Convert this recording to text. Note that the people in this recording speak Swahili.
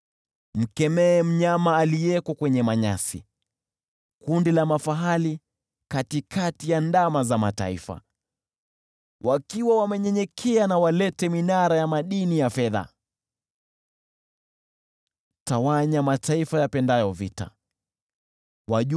Mkemee mnyama aliyeko kwenye manyasi, kundi la mafahali katikati ya ndama za mataifa. Na walete minara ya madini ya fedha wakinyenyekea. Tawanya mataifa yapendayo vita.